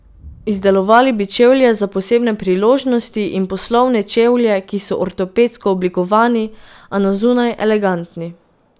Izdelovali bi čevlje za posebne priložnosti in poslovne čevlje, ki so ortopedsko oblikovani, a na zunaj elegantni.